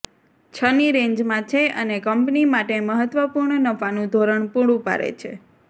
છની રેન્જમાં છે અને કંપની માટે મહત્ત્વપૂર્ણ નફાનું ધોરણ પુરું પાડે છે